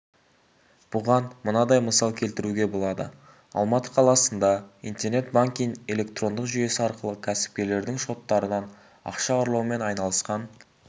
бұған мынадай мысал келтіруге болады алматы қаласында интернет-банкинг электрондық жүйесі арқылы кәсіпкерлердің шоттарынан ақша ұрлаумен айналысқан